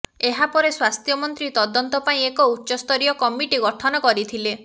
ଏହା ପରେ ସ୍ବାସ୍ଥ୍ୟ ମନ୍ତ୍ରୀ ତଦନ୍ତ ପାଇଁ ଏକ ଉଚ୍ଚସ୍ତରୀୟ କମିଟି ଗଠନ କରିଥିଲେ